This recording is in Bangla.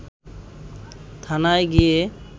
থানায় গিয়ে